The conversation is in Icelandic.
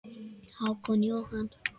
Hákon Jóhann.